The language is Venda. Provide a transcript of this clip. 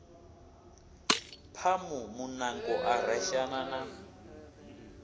phamu muṋango a reshana na